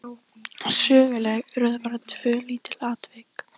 Söguleg urðu bara tvö lítil atvik.